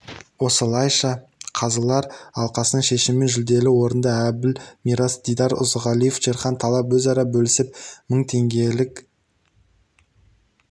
осылайша қазылар алқасының шешімімен жүлделі орынды әбіл мирас дидар ұзағалиев шерхан талап өзара бөлісіп мың теңгелік